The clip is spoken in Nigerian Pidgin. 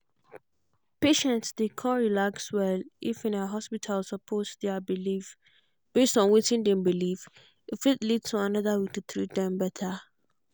patients dey um relax well if um hospital support their belief. based on wetin dem believe e fit lead to another way to treat dem. um